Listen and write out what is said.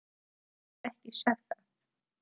Ég hef ekki sagt það!